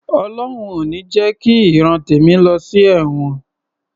Ọlọhun ò ní jẹ ki ìran tèmi lọ sí ẹ̀wọ̀n